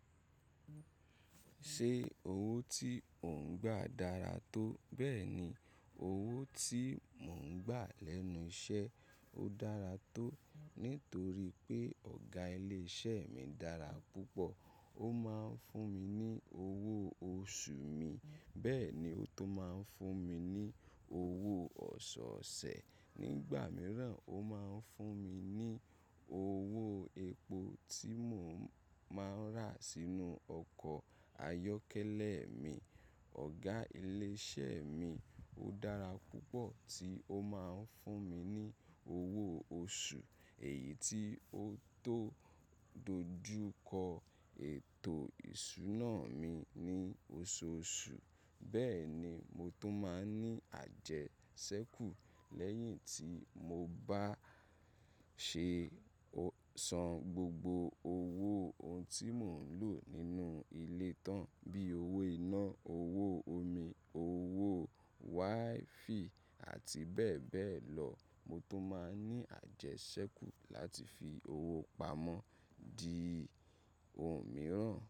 Ṣé owó tí ò ń gbà dára tó? Bẹ́ẹ̀ni, owó tí mò ń gbà lẹ́nu iṣẹ́ o dára tó, nítorí pé ọ̀gá ilé iṣẹ́ mi dára púpọ̀. Ó máa ń fún mi ní owó oṣù mi, bẹ́ẹ̀ ni ó tun máa ń fún mi ní owó ọ̀ṣọ̀ọ̀ṣẹ̀. Nígbà mìíràn, ó máa ń fún mi ní owó epo tí mò ń máa n rà sínú ọkọ̀ ayọ́kẹ́lẹ́ mi. Ọ̀gá ilé iṣẹ́ mi dára púpọ̀ tí ó máa ń fún mi ní owó oṣù, èyí tí ó tó dojú kọ ètò ìṣúná mi ní oṣooṣù. Bẹ́ẹ̀ ni mo tó máa ń ní àjẹsẹ́kù lẹ́yìn tí mo bá ṣe san gbogbo owó ohun tí mò ń lò nínú ilé tán, bí owó iná, owó omi, owó WiFi àti bẹ́ẹ̀ bẹ́ẹ̀ lọ. Mo tó máa ń ní àjẹsẹ́kù láti fi owó pamọ́ di ohun mìíràn.